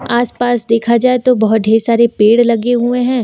आसपास देखा जाए तो बहुत ठे सारे पेड़ लगे हुए हैं।